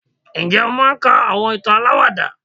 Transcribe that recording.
njé o máà ń ka awọn ìtàn àlàwàdà?